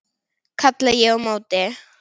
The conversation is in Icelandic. kalla ég á móti.